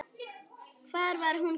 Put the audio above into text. Hvar var hún keypt?